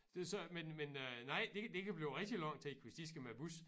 Det så men men øh nej det det kan blive rigtig lang tid hvis de skal med æ bus